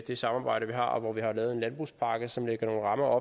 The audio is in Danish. det samarbejde vi har og man har lavet en landbrugspakke som lægger nogle rammer